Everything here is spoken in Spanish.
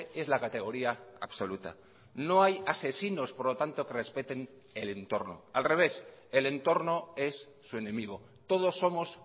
es la categoría absoluta no hay asesinos por lo tanto que respeten el entorno al revés el entorno es su enemigo todos somos